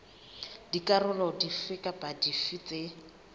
dikarolo dife kapa dife tse